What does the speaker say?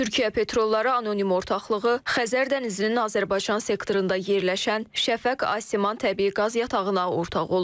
Türkiyə Petrolları Anonim Ortaklığı Xəzər dənizinin Azərbaycan sektorunda yerləşən Şəfəq Asiman təbii qaz yatağına ortağı olur.